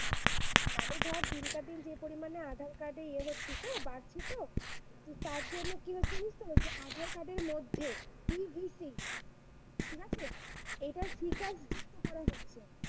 মানে ধর দিনকে দিন যে পরিমাণে আধার-কার্ড এ ইয়ে হচ্ছে বাড়ছে তো, তো তার জন্য কি হচ্ছে বুঝতে পারছিস আধার-কার্ডের মধ্যে PVC ঠিক আছে? এটার যুক্ত feature করা হচ্ছে।